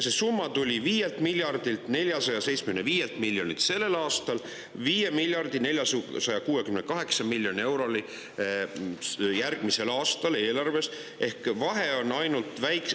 Selle aasta eelarves on see summa 5 475 000 000 eurot ja järgmisel aastal 5 468 000 000 eurot.